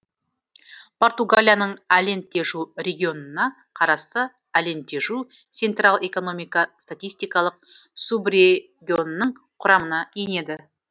португалияның алентежу регионына қарасты алентежу сентрал экономика статистикалық субрегионының құрамына енеді